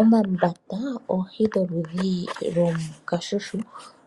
Omambata oohi dho ludhi lwoo kashushu